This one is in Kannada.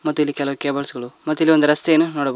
ಮತ್ತು ಇಲ್ಲಿ ಕೆಲ ಕೇಬಲ್ಸ್ ಗಳು ಮತ್ತ ಇಲ್ಲಿ ಒಂದ ರಸ್ತೆಯನ್ನು ನೋಡಬ--